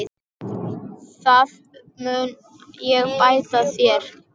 Það mun ég bæta þér.